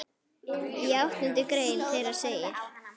Í áttundu grein þeirra segir